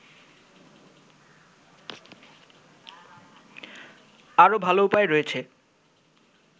আরো ভাল উপায় রয়েছে